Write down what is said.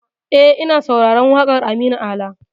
E, ina sauraron waƙar Aminu Ala.